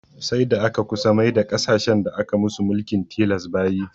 Sai da aka kusa maida ƙasashen da aka musu mulkin tilas bayi